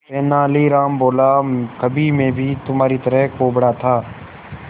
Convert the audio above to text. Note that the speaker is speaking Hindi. तेनालीराम बोला कभी मैं भी तुम्हारी तरह कुबड़ा था